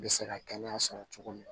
Bɛ se ka kɛnɛya sɔrɔ cogo min na